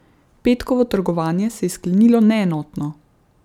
Petkovo trgovanje se je sklenilo neenotno.